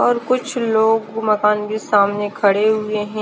और कुछ लोग मकान के सामने खड़े हुए है।